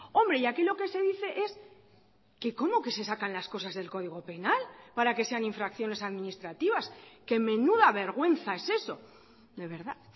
hombre y aquí lo que se dice es que cómo que se sacan las cosas del código penal para que sean infracciones administrativas que menuda vergüenza es eso de verdad